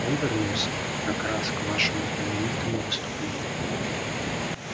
он вернулся как раз к вашему знаменитому выступлению